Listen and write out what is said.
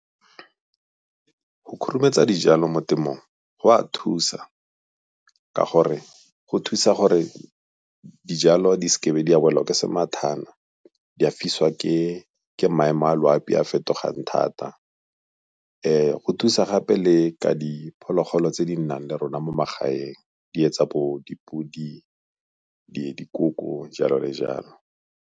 Go khurumetsa dijalo mo temong go a thusa, ka gore go thusa gore dijalo di seke be di a bola ke semathana di a fiswa ke maemo a loapi a fetogang thata. Go thusa gape le ka diphologolo tse di nnang le rona mo magaeng di tsa bo dipodi, dikoko, jalo le jalo.